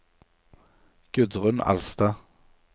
Gudrun Alstad